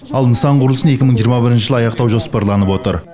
ал нысан құрылысын екі мың жиырма бірінші жылы аяқтау жоспарланып отыр